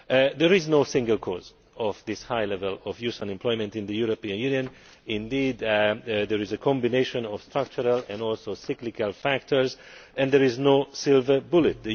There is no single cause of this high level of youth unemployment in the European Union there is a combination of structural and cyclical factors, and there is no silver bullet.